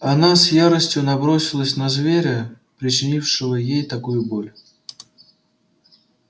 она с яростью набросилась на зверя причинившего ей такую боль